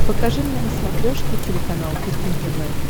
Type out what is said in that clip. покажи мне на смотрешке телеканал кухня тв